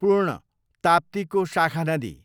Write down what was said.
पूर्ण, ताप्तीको शाखा नदी